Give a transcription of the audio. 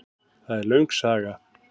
Það er löng saga.